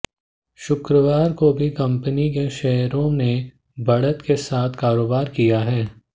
शुक्रवार को भी कंपनी के शेयरों ने बढ़त के साथ कारोबार किया है